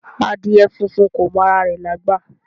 Adìẹ funfun kò mọ ara rẹ̀ lágbà